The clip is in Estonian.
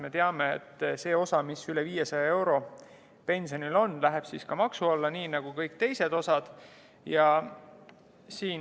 Me teame, et see osa pensionist, mis on üle 500 euro, läheb siis ka maksu alla nii nagu kõik muu.